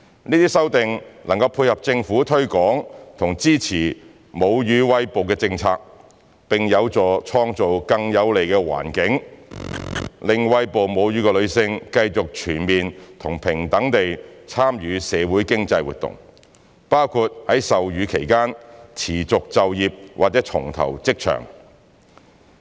這些修訂能配合政府推廣及支持母乳餵哺的政策，並有助創造更有利的環境，讓餵哺母乳的女性繼續全面和平等地參與社會經濟活動，包括在授乳期間持續就業或重投職場。